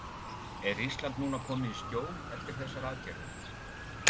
Er Ísland núna komið í skjól eftir þessar aðgerðir?